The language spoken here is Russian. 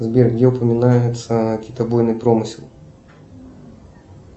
сбер где упоминается китобойный промысел